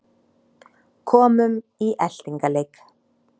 En ef síldin okkar hrygnir ekki hér hvar getur hún þá hrygnt?